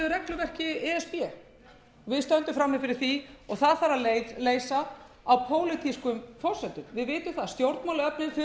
regluverki e s b við stöndum frammi fyrir því og það þarf að leysa á pólitískum forsendum við vitum það stjórnmálaöflin þurfa